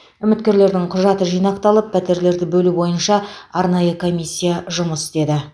үміткерлердің құжаты жинақталып пәтерлерді бөлу бойынша арнайы комиссия жұмыс істеді